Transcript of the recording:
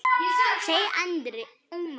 segir Andri.